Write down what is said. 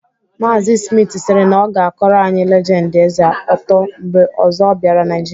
Maazị Smith siri na ọ ga-akọrọ anyị legendi Eze ọtọ mgbe ọzọ ọ bịara Naịjịrịa.